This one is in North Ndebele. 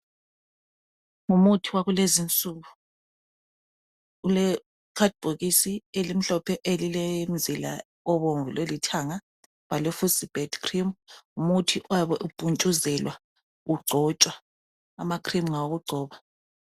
Ngumuthi wakulezinsuku ule khadibhokisi elimhlophe elilemzila obomvu lolithanga, bhalwe fucibet cream ngumuthi oyabe umpuntshuzelwa ugcotshwa ama cream ngawokugcoba.